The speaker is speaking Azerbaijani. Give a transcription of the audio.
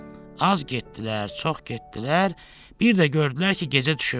Az getdilər, çox getdilər, bir də gördülər ki, gecə düşüb.